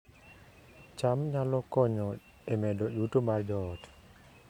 cham nyalo konyo e medo yuto mar joot